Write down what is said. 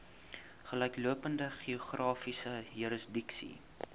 gelyklopende geografiese jurisdiksie